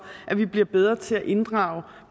at vi bliver bedre til at inddrage